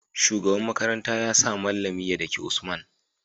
shugaban makaranta yasa mallami ya daki usman